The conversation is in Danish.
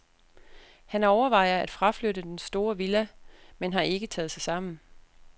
Han overvejer at fraflytte den store villa, men har ikke taget sig sammen.